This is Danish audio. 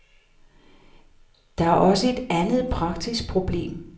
Der er også et andet praktisk problem.